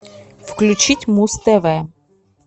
включить муз тв